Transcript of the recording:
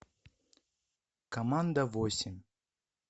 команда восемь